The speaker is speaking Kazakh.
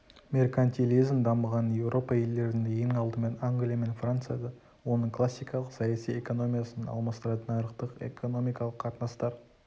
меркантилизм дамыған еуропа елдерінде ең алдымен англия мен францияда оның классикалық саяси экономиясын алмастыратын нарықтық экономикалық қатынастар